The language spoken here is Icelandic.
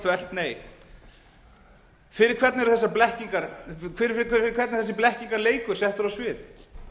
þvert nei fyrir hvern er þessi blekkingarleikur settur á svið